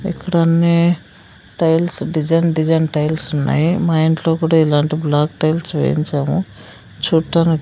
ఇక్కడన్నీ tiles design design tiles ఉన్నాయి మా ఇంట్లో కూడా ఇలాంటి బ్లాక్ టైల్స్ వేయించాము చూట్టానికి--